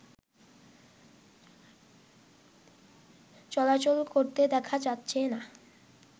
চলাচল করতে দেখা যাচ্ছেনা